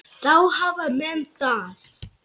Þá hafa menn það.